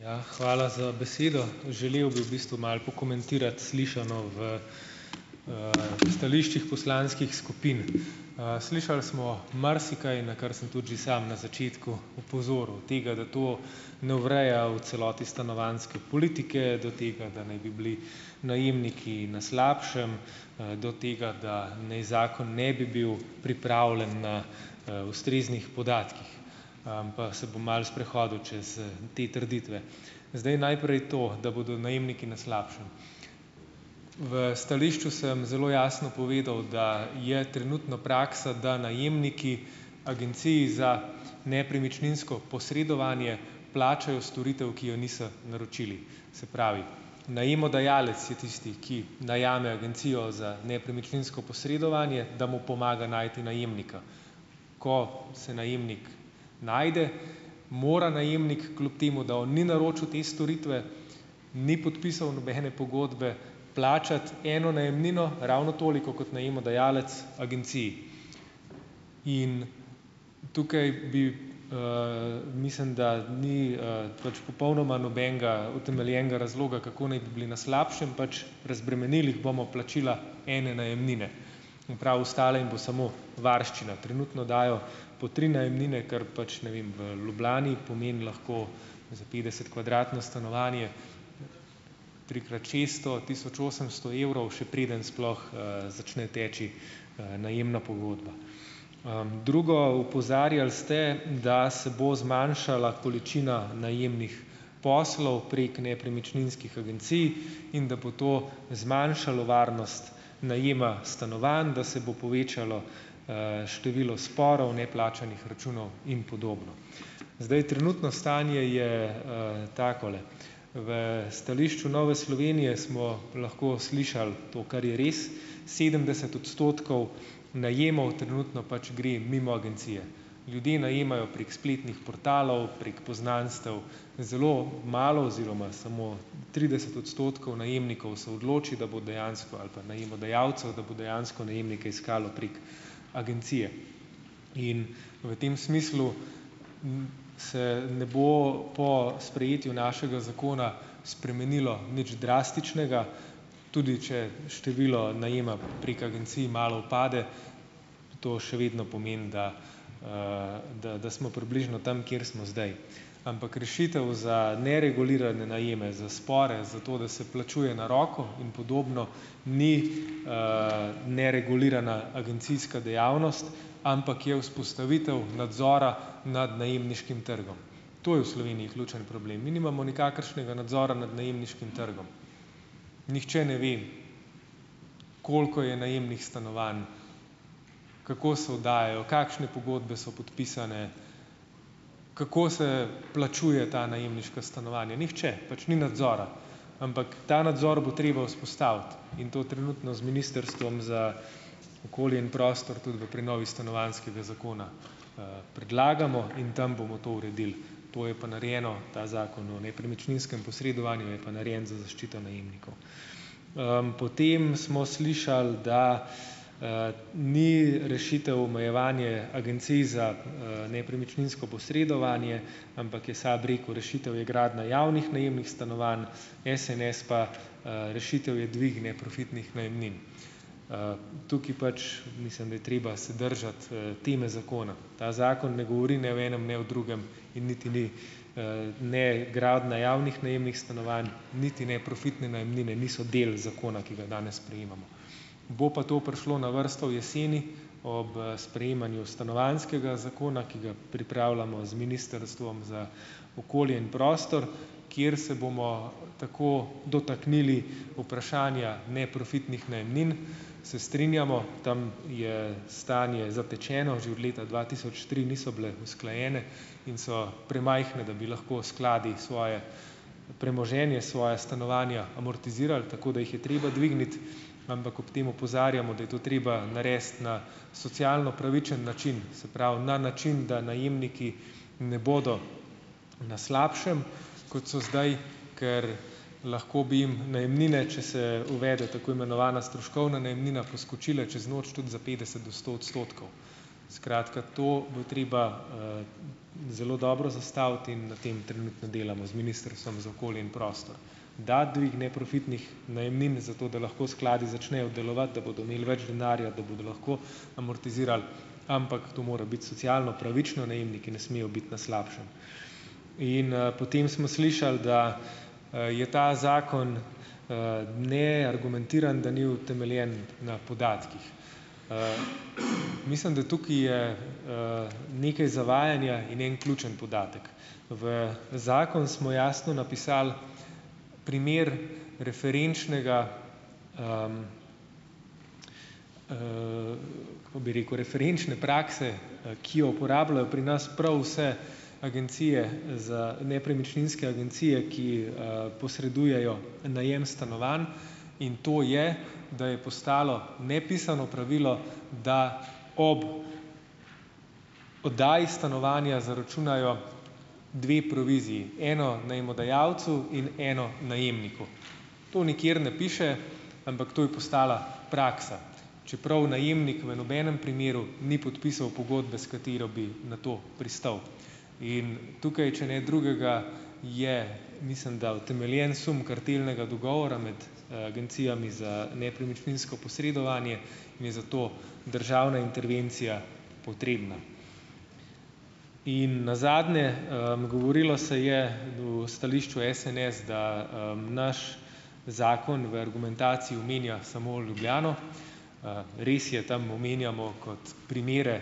Ja, hvala za besedo, želel bi v bistvu malo pokomentirati slišano v stališčih poslanskih skupin. slišali smo marsikaj, na kar sem tudi že sam na začetku opozoril, tega, da to ne ureja v celoti stanovanjske politike, do tega, da naj bi bili najemniki na slabšem, do tega da ni zakon ne bi bil pripravljen na ustreznih podatkih, pa se bom malo sprehodil čez te trditve. Zdaj, najprej to, da bodo najemniki na slabšem. v stališču sem zelo jasno povedal, da je trenutno praksa, da najemniki agenciji za nepremičninsko posredovanje plačajo storitev, ki jo niso naročili, se pravi, najemodajalec je tisti, ki najame agencijo za nepremičninsko posredovanje, da mu pomaga najti najemnika, ko se najemnik najde, mora najemnik, kljub temu da on ni naročil te storitve, ni podpisal nobene pogodbe, plačati eno najemnino, ravno toliko kot najemodajalec agenciji, in tukaj bi, mislim, da ni, pač popolnoma nobenega utemeljenega razloga, kako naj bi bili na slabšem, pač razbremenili bomo plačila ene najemnine in prav ostale in bo samo varščina, trenutno dajo po tri najemnine, kar pač, ne vem, v Ljubljani pomeni lahko za petdesetkvadratno stanovanje trikrat šesto tisoč osemsto evrov, še preden sploh, začne teči, najemna pogodba, drugo, opozarjali ste, da se bo zmanjšala količina najemnih poslov prek nepremičninskih agencij in da bo to zmanjšalo varnost najema stanovanj, da se bo povečalo, število sporov, neplačanih računov in podobno, zdaj, trenutno stanje je, takole. V stališču Nove Slovenije smo lahko slišali to, kar je res, sedemdeset odstotkov najemov trenutno pač gre mimo agencije, ljudje najemajo prek spletnih portalov, prek poznanstev, zelo malo oziroma samo trideset odstotkov najemnikov se odloči, da bo dejansko, ali pa najemodajalcev, da bo dejansko najemnike iskalo prek agencije, in v tem smislu se ne bo po sprejetju našega zakona spremenilo nič drastičnega, tudi če število najema prek agencij malo upade, to še vedno pomeni, da, da, da smo približno tam, kjer smo zdaj, ampak rešitev za neregulirane najeme za spore, zato da se plačuje na roko in podobno, ni, neregulirana agencijska dejavnost, ampak je vzpostavitev nadzora nad najemniškim trgom, to je v Sloveniji ključen problem, mi nimamo nikakršnega nadzora nad najemniškim trgom, nihče ne ve, koliko je najemnih stanovanj, kako se oddajajo, kakšne pogodbe so podpisane, kako se plačuje ta najemniška stanovanja, nihče pač, ni nadzora, ampak ta nadzor bo treba vzpostaviti, in to trenutno z ministrstvom za okolje in prostor tudi v prenovi stanovanjskega zakona, predlagamo in tam bomo to uredili to je pa narejeno, ta zakon o nepremičninskem posredovanju, je pa narejen za zaščito najemnikov, potem smo slišali, da, ni rešitev omejevanje agencij za, nepremičninsko posredovanje, ampak je SAB rekel: "Rešitev je gradnja javnih najemnih stanovanj, SNS pa, rešitev je dvig neprofitnih najemnin, Tukaj pač mislim, da je treba se držati, teme zakona, ta zakon ne govori ne o enem ne o drugem in niti ni, ne gradnja javnih najemnih stanovanj niti ne profitne najemnine niso del zakona, ki ga danes sprejemamo, bo pa to prišlo na vrsto jeseni ob sprejemanju stanovanjskega zakona, ki ga pripravljamo z ministrstvom za okolje in prostor, kjer se bomo tako dotaknili vprašanja neprofitnih najemnin. Se strinjamo, tam je stanje zatečeno, že od leta dva tisoč tri niso bile usklajene, in so premajhni, da bi lahko skladi svoje premoženje, svoja stanovanja amortizirali, tako da jih je treba dvigniti, ampak ob tem opozarjamo, da je to treba narediti na socialno pravičen način, se pravi, na način, da najemniki ne bodo na slabšem, kot so zdaj, ker lahko bi najemnine, če se uvede tako imenovana stroškovna najemnina, poskočile čez noč tudi za petdeset do sto odstotkov, skratka, to bo treba, zelo dobro zastaviti in na tem trenutno delamo z ministrstvom za okolje in prostor, da dvig neprofitnih najemnim, zato da lahko skladi začnejo delovati, da bodo imeli več denarja, da bodo lahko amortizirali, ampak to mora biti socialno pravično, najemniki, ki ne smejo biti na slabšem, in potem smo slišali, da je ta zakon, neargumentiran, da ni utemeljen na podatkih, mislim da tukaj je, nekaj zavajanja in en ključni podatek, v zakon smo jasno napisali primer referenčnega, kako bi rekel, referenčne prakse, ki jo uporabljajo pri nas prav vse agencije, za nepremičninske agencije, ki, posredujejo najem stanovanj, in to je, da je postalo nepisano pravilo, da ob oddaji stanovanja zaračunajo dve proviziji, eno najemodajalcu in eno najemniku, to nikjer ne piše, ampak to je postala praksa, čeprav najemnik v nobenem primeru ni podpisal pogodbe, s katero bi na to pristal, in tukaj če ne drugega, je, mislim da, utemeljen sum kartelnega dogovora med agencijami za nepremičninsko posredovanje, je za to državna intervencija potrebna in nazadnje, govorilo se je v stališču SNS, da, naš zakon v argumentaciji omenja samo Ljubljano. Res je, tam omenjamo kot primere,